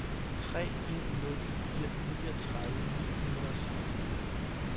tre en nul fire niogtredive ni hundrede og seksten